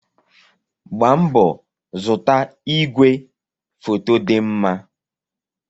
Gbaa mbọ zụta ìgwè foto dị mma!